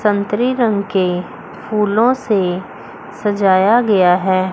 संतरी रंग के फूलों से सजाया गया है।